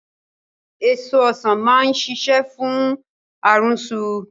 Èso Ọ̀sán máa ṣiṣẹ́ fún àrùnsu